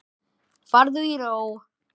Farðu í ró.